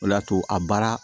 O de y'a to a baara